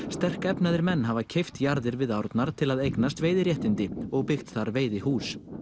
sterkefnaðir menn hafa keypt jarðir við árnar til að eignast veiðiréttindi og byggt þar veiðihús